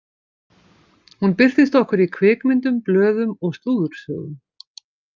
Hún birtist okkur í kvikmyndum, blöðum og slúðursögum.